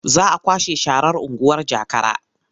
Za a kwashe sharar unguwar Jakara.